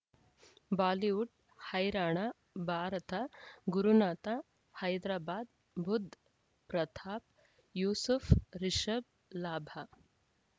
Bollywood ಹೈರಾಣ ಭಾರತ ಗುರುನಾಥ ಹೈದರಾಬಾದ್ ಬುಧ್ ಪ್ರತಾಪ್ ಯೂಸುಫ್ ರಿಷಬ್ ಲಾಭ